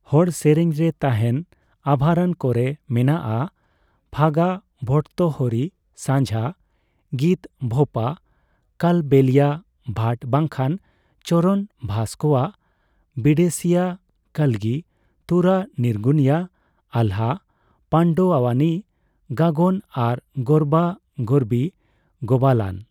ᱦᱚᱲ ᱨᱮᱨᱮᱧ ᱨᱮ ᱛᱟᱦᱮᱱ ᱟᱵᱷᱟᱨᱚᱱ ᱠᱚ ᱨᱮ ᱢᱮᱱᱟᱜ ᱟ ᱯᱷᱟᱜᱟ, ᱵᱷᱚᱴᱛᱚᱦᱚᱨᱤ, ᱥᱟᱱᱡᱷᱟ ᱜᱤᱛ, ᱵᱷᱳᱯᱟ, ᱠᱟᱞᱵᱮᱞᱤᱭᱟ, ᱵᱷᱟᱴ ᱵᱟᱝᱠᱷᱟᱱ ᱪᱚᱨᱚᱱ, ᱵᱷᱟᱥ ᱠᱚᱣᱟᱜ, ᱵᱤᱰᱮᱥᱤᱭᱟᱹ ᱠᱟᱞᱜᱤ ᱛᱩᱨᱟ, ᱱᱤᱨᱜᱩᱱᱤᱭᱟ, ᱟᱞᱦᱟ, ᱯᱟᱱᱰᱚᱚᱣᱟᱱᱤ ᱜᱟᱭᱚᱱ ᱟᱨ ᱜᱟᱨᱵᱟ ᱜᱟᱨᱵᱤ ᱜᱳᱵᱟᱞᱟᱱ ᱾